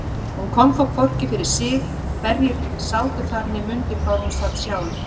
Hún kom þó hvorki fyrir sig hverjir sátu þar né mundi hvar hún sat sjálf.